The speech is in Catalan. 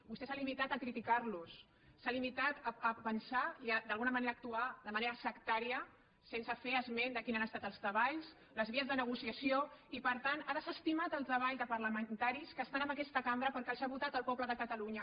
vostè s’ha limitat a criticar los s’ha limitat a pensar i d’alguna manera a actuar de manera sectària sense fer esment de quins han estat els treballs les vies de negociació i per tant ha desestimat el treball de parlamentaris que estan en aquesta cambra perquè els ha votat el poble de catalunya